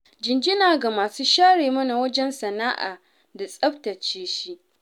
Jinjina ga masu share mana wajen sana'a da tsabtace shi.